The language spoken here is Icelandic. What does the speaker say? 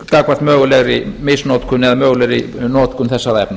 gagnvart mögulegri misnotkun eða mögulegri notkun þessara efna